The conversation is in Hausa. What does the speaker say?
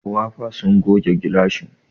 Wafa sun goge gilashin.